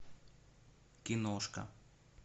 киношка